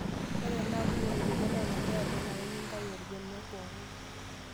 Ore tenaa kumok irbenia lolanterera nenare nintayu orbenia pooki.